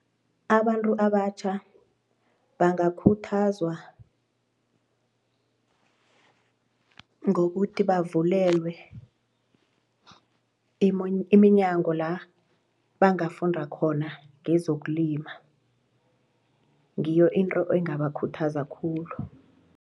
Abantu abatjha bangakhuthazwa ngokuthi bavulelwe iminyango la bangafunda khona ngezokulima ngiyo into engabakhuthaza khulu.